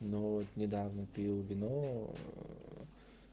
ну вот недавно пил вино